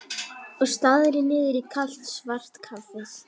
Og starði niður í kalt svart kaffið.